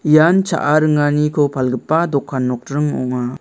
ian cha·a ringaniko palgipa dokan nokdring ong·a.